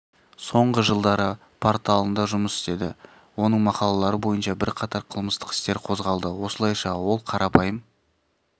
соңғы жылдары порталында жұмыс істеді оның мақалалары бойынша бірқатар қылмыстық істер қозғалды осылайша ол қарапайым